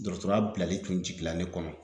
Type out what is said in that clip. Dɔrɔtɔrɔya bilali kun jigila ne kɔnɔ